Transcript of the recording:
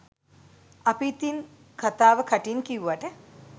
අපි ඉතින් කතාව කටින් කිව්වට